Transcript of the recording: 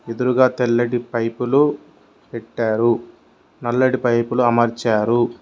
ఎదురుగా తెల్లటి పైపులు పెట్టారు నల్లటి పైపులు అమర్చారు.